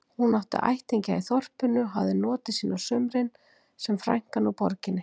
Hún átti ættingja í þorpinu og hafði notið sín á sumrin sem frænkan úr borginni.